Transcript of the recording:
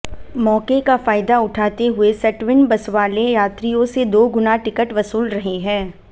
मौके का फायदा उठाते हुये सेटविन बसवाले यात्रियों से दो गुना टिकट वसूल रहे हैं